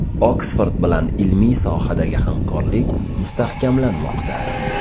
Oksford bilan ilmiy sohadagi hamkorlik mustahkamlanmoqda.